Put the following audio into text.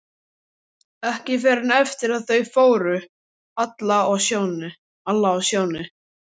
Ekki fyrr en eftir að þau fóru, Alla og Sjóni.